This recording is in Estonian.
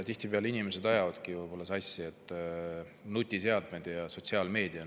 Tihtipeale ajavadki inimesed võib-olla sassi nutiseadmed ja sotsiaalmeedia.